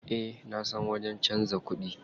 Eh nasan wajen canza kuɗi.